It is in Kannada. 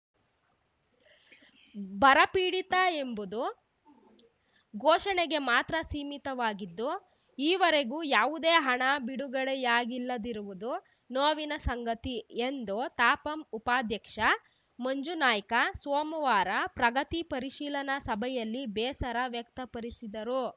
ಬರ ಪೀಡಿತ ಎಂಬುದು ಘೋಷಣೆಗೆ ಮಾತ್ರ ಸೀಮಿತವಾಗಿದ್ದು ಈವರೆಗೂ ಯಾವುದೇ ಹಣ ಬಿಡುಗಡೆಯಾಗಿಲ್ಲದಿರುವುದು ನೋವಿನ ಸಂಗತಿ ಎಂದು ತಾಪಂ ಉಪಾಧ್ಯಕ್ಷ ಮಂಜನಾಯ್ಕ ಸೋಮವಾರ ಪ್ರಗತಿ ಪರಿಶೀಲನಾ ಸಭೆಯಲ್ಲಿ ಬೇಸರ ವ್ಯಕ್ತಪರಿಸಿದರು